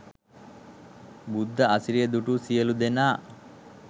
බුද්ධ අසිරිය දුටු සියලු දෙනා